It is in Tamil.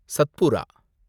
சத்புரா